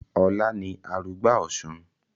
Ọlá ni arugbá Ọ̀sun